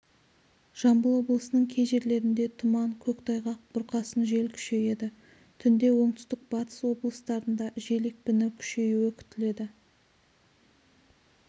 жамбыл облысының кей жерлерінде тұман көктайғақ бұрқасын жел күшейеді түнде оңтүстік-батыс облыстарында жел екпіні күшеюі күтіледі